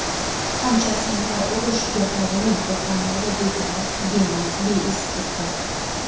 Qancha ismlar urush girdobining to‘fonlarida bedarak, benom, beiz ketdi.